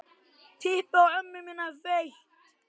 Þá hringdi ég á hjálp.